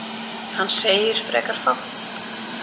Hann segir frekar fátt.